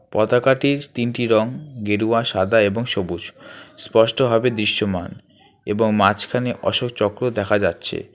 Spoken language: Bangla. পতাকাটির তিনটি রং গেরুয়া সাদা এবং সবুজ স্পষ্ট হবে দৃশ্যমান এবং মাঝখানে অশোক চক্র দেখা যাচ্ছে।